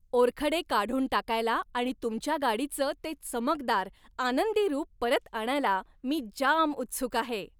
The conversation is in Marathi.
ओरखडे काढून टाकायला आणि तुमच्या गाडीचं ते चमकदार, आनंदी रूप परत आणायला मी जाम उत्सुक आहे!